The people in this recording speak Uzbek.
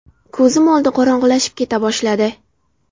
Ko‘zim oldi qorong‘ilashib keta boshladi.